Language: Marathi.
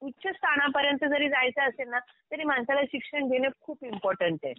उच्च स्थानापर्यंत जरी जायचे असेल ना तरी माणसाला शिक्षण घेणं खूप इम्पॉर्टन्ट आहे.